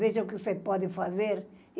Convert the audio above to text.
Veja o que você pode fazer.